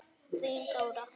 Þín Dóra.